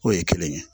O ye kelen ye